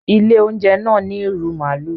ilé oúnjẹ náa ní irú maalu.